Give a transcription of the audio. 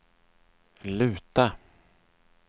luta